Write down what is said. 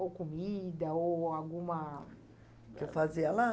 Ou comida, ou alguma... O que eu fazia lá?